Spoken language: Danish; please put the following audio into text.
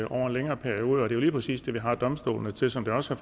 over en længere periode og det er jo lige præcis det vi har domstolene til som det også